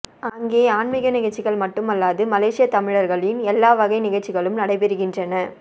அங்கே ஆன்மிக நிகழ்ச்சிகள் மட்டுமல்லாது மலேசியத்தமிழர்களின் எல்லா வகை நிகழ்ச்சிகளும் நடைபெறுகின்றன